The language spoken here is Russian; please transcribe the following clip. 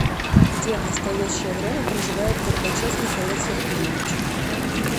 где в настоящее время проживает горбачев михаил сергеевич